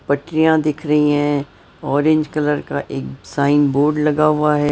पटरियां दिख रही हैं ऑरेंज कलर का एक साइन बोर्ड लगा हुआ है।